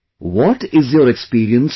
What is your experience now